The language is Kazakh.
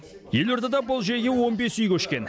елордада бұл жүйеге он бес үй көшкен